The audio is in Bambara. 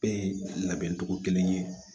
Bɛɛ ye labɛncogo kelen ye